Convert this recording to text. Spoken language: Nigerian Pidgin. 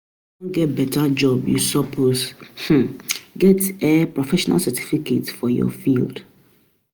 If you wan get beta job, you suppose um get um professional certification for your field.